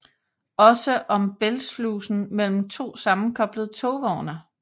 Også om bælgslusen mellem to sammenkoblede togvogne